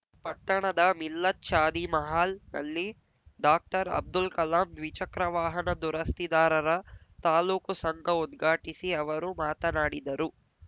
ಪಟ್ಟಣದ ಮಿಲ್ಲತ್‌ ಶಾದಿ ಮಹಲ್‌ನಲ್ಲಿ ಡಾಕ್ಟರ್ಅಬ್ದುಲ್‌ ಕಲಾಂ ದ್ವಿ ಚಕ್ರವಾಹನ ದುರಸ್ತಿದಾರರ ತಾಲೂಕು ಸಂಘ ಉದ್ಘಾಟಿಸಿ ಅವರು ಮಾತನಾಡಿದರು